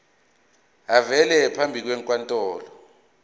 avele phambi kwenkantolo